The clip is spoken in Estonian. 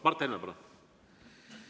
Mart Helme, palun!